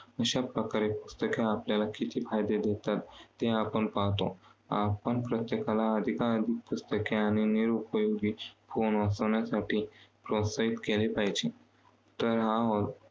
अशा प्रकारे पुस्तके आपल्याला किती फायदे देतात ते आपण पाहातो. आपण प्रत्येकाला अधिकाधिक पुस्तके आणि निरोपयोगी वाचवण्यासाठी प्रोत्साहित केले पाहिजे. तर हा